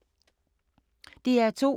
DR2